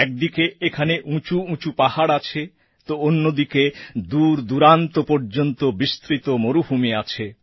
একদিকে এখানে উঁচু উঁচু পাহাড় আছে তো অন্যদিকে দূর দূরান্ত পর্যন্ত বিস্তৃত মরুভূমি আছে